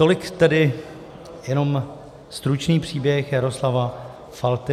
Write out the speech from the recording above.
Tolik tedy jenom stručný příběh Jaroslava Falty.